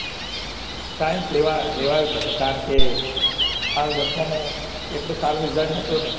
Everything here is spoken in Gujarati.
sceince લેવાયુજ નતુ કારણ કે મારું દસમામાં એટલે બધું સારું result સારું હતું પણ નહિ